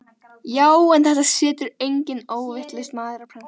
GRÍMUR: Já, en þetta setur enginn óvitlaus maður á prent.